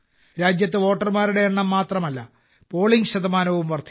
രാജ്യത്ത് വോട്ടർമാരുടെ എണ്ണം മാത്രമല്ല പോളിംഗ് ശതമാനവും വർദ്ധിച്ചു